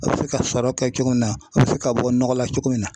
A bɛ se ka sɔrɔ kɛ cogo min na a bɛ se ka bɔ nɔgɔ la cogo min na